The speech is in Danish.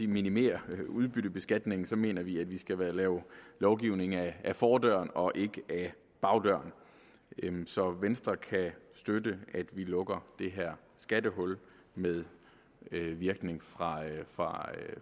minimere udbyttebeskatningen mener vi at vi skal lave lovgivning ad fordøren og ikke ad bagdøren så venstre kan støtte at vi lukker det her skattehul med virkning fra fra